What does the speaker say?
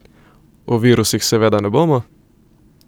O virusih seveda ne bomo.